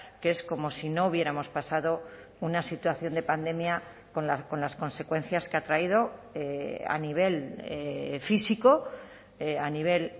que es como si no hubiéramos pasado una situación de pandemia con las consecuencias que ha traído a nivel físico a nivel